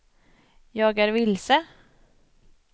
jag är vilse